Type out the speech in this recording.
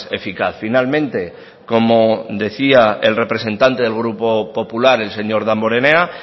eficaz finalmente como decía el representante del grupo popular el señor damborenea